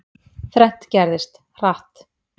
Þrennt gerðist, hratt.